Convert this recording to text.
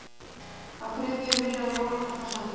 Á þriðju milljón jólakorta send